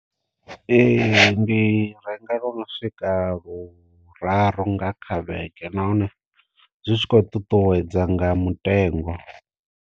Ee ndi renga lu no swika luraru nga kha vhege nahone zwi tshi kho ṱuṱuwedza nga mutengo.